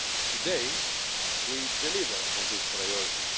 Today we deliver on this priority.